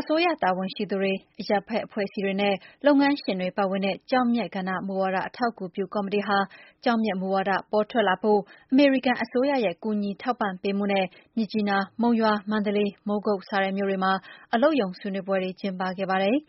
အစိုးရတာဝန်ရှိသူတွေ အရပ်ဘက် အဖွဲ့အစည်းတွေနဲ့ လုပ်ငန်းရှင်တွေ ပါဝင်တဲ့ ကျောက်မျက်ကဏ္ဍ မူဝါဒအထောက်အကူပြုကော်မတီဟာ ကျောက်မျက်မူဝါဒ ပေါ်ထွက်လာဖို့ အမေရိကန်အစိုးရရဲ့ ကူညီထောက်ပံ့ပေးမှုနဲ့ မြစ်ကြီးနား၊ မုံရွာ၊ မန္တလေး၊ မိုးကုတ် စတဲ့ မြို့တွေမှာ အလုပ်ရုံဆွေးနွေးပွဲတွေ လုပ်ခဲ့ပါတယ်။